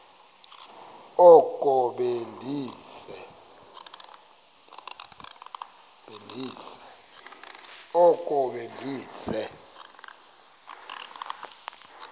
oko be ndise